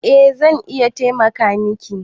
Eh zan iya taimaka miki